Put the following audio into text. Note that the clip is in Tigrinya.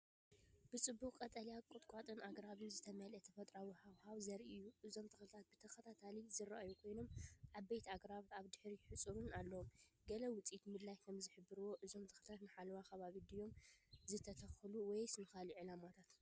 ብጽዑቕ ቀጠልያ ቁጥቋጥን ኣግራብን ዝተመልአ ተፈጥሮኣዊ ሃዋህው ዘርኢ እዩ። እዞም ተኽልታት ብተኸታታሊ ዝረኣዩ ኮይኖም፡ ዓበይቲ ኣግራብን ኣብ ድሕሪት ሓጹርን ኣለዎም። ገለ ውጽኢት ምድላይ ከም ዝሕብርዎ፡ እዞም ተኽልታት ንሓለዋ ከባቢ ድዮም ዝተተኽሉ ወይስ ንኻልእ ዕላማታት?